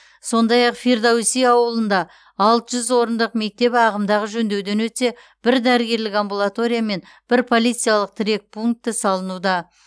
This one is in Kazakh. сондай ақ фирдоуси ауылында алты жүз орындық мектеп ағымдағы жөндеуден өтсе бір дәрігерлік амбулатория мен бір полициялық тірек пункті салынуда